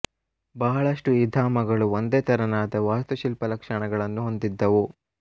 ಬಹಳಷ್ಟು ಈ ಧಾಮಗಳು ಒಂದೇ ತೆರನಾದ ವಾಸ್ತುಶಿಲ್ಪದ ಲಕ್ಷಣಗಳನ್ನು ಹೊಂದಿದ್ದವು